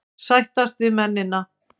Sættast við mennina.